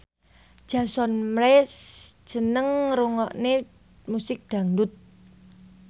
Jason Mraz seneng ngrungokne musik dangdut